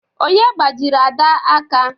Onye gbajiri Ada aka?